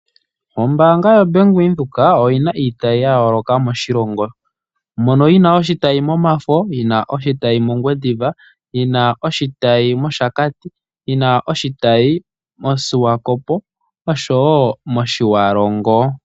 Ombaanga yoBank Windhoek oyi na iitayi ya yooloka moshilongo. Mono yi na oshitayi mOmafo, oshitayi mOngwediva, yi na oshitayi mOshakati, oshitayi moSwakopo oshowo oshitayi mOtjiwarongo.